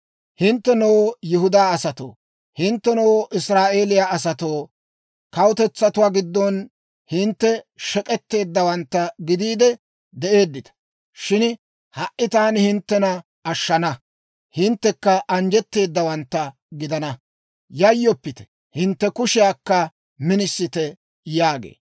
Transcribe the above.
Hinttenoo Yihudaa asatoo, hinttenoo Israa'eeliyaa asatoo, kawutetsatuwaa giddon hintte shek'etteeddawaantta gidiide de'eeddita; shin ha"i taani hinttena ashshana; hinttekka anjjetteedawantta gidana. Yayyoppite! Hintte kushiyaakka minisite!» yaagee.